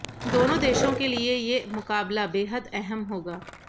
दोनों देशों के लिए ये मुकाबला बेहद अहम होगा